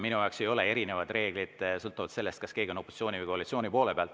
Minu jaoks ei erine reeglid sõltuvalt sellest, kas keegi on opositsiooni või koalitsiooni poole peal.